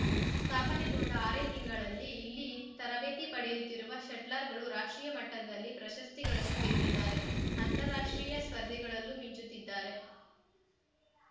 ಸ್ಥಾಪನೆಗೊಂಡ ಆರೇ ತಿಂಗಳಲ್ಲಿ ಇಲ್ಲಿ ತರಬೇತಿ ಪಡೆಯುತ್ತಿರುವ ಶಟ್ಲರ್‌ಗಳು ರಾಷ್ಟ್ರೀಯ ಮಟ್ಟದಲ್ಲಿ ಪ್ರಶಸ್ತಿಗಳನ್ನು ಗೆದ್ದಿದ್ದಾರೆ ಅಂತಾರಾಷ್ಟ್ರೀಯ ಸ್ಪರ್ಧೆಗಳಲ್ಲೂ ಮಿಂಚುತ್ತಿದ್ದಾರೆ